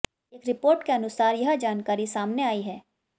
एक रिपोर्ट के अनुसार यह जानकारी सामने आयी है